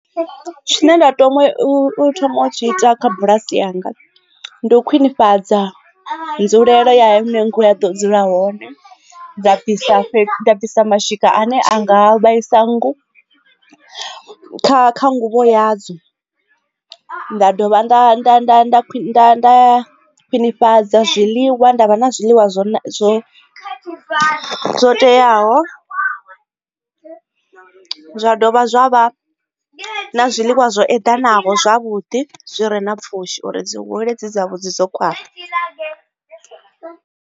Tshine nda tama u thoma u tshi ita kha bulasi yanga ndi u khwinifhadza nzulelo ya hune nngu ya ḓo dzula hone dza fhisa bvisa mashika ane a nga vhaisa nngu kha kha nguvho ya dzo nda dovha nda ḓa nda nda ḓa nda khwinifhadza zwiḽiwa nda vha na zwiḽiwa zwo zwo zwo teaho zwa dovha zwa vha na zwiḽiwa zwo eḓanaho zwavhuḓi zwi re na pfhushi uri dzi hule dzi dzavhuḓi dzo khwaṱha.